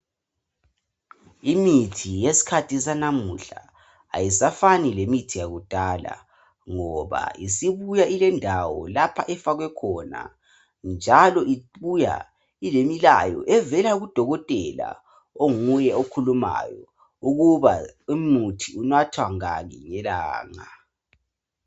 Imithi yesikhathi sanamuhla ayisafani lemithi yakudala ngoba isibuya ilendawo lapho efakwe khona njalo ibuya ilemilayo evela kudokotela onguye okhulumayo ukuthi umuthi unathwa ngaki ngelanga